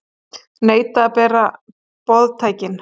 Neita að bera boðtækin